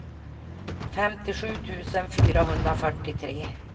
femtiosju tusen fyrahundrafyrtiotre